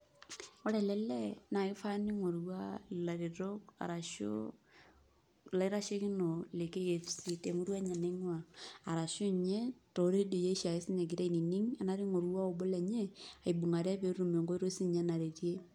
Ore ele lee, naa kifaa ning'orutua ilaretok arashu ilaitashekinok le KFC,temurua enye naing'ua. Arashu inye toredioi oshiake sinye egira ainining, enaata ing'orua obo lenye, aibung'are petum enkoitoi sinye naretie.